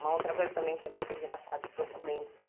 Uma outra coisa também que é muito engraçada, documento.